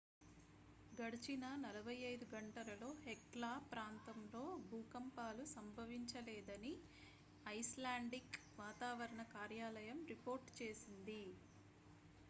గడిచిన 48 గంటలలో hekla ప్రాంతంలో భూకంపాలు సంభవించలేదని ఐస్లాండిక్ వాతావరణ కార్యాలయం రిపోర్ట్ చేసింది